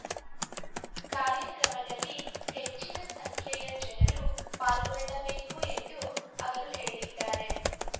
ಕಾರ್ಯಕ್ರಮದಲ್ಲಿ ಹೆಚ್ಚಿನ ಸಂಖ್ಯೆಯ ಜನರು ಪಾಲ್ಗೊಳ್ಳಬೇಕು ಎಂದು ಅವರು ಹೇಳಿದ್ದಾರೆ